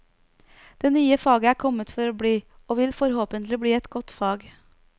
Det nye faget er kommet for å bli, og vil forhåpentlig bli et godt fag.